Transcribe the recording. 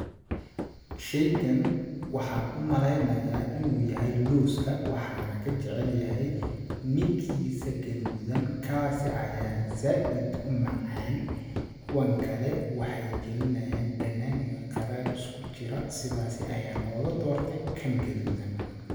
Sheygan waxaan u maleyanayaa inuu yahay looska ,waxaan ka jacel yahay midkiisa gaduudan kaasi ayaan zaaid u macaan ,kuwan kale waxeey galinayaan dhanaan iyo qaraar isku jira sidaasi ayaan ooga doortay kan gaduudan.